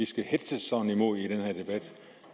skal hetzes sådan imod i den her debat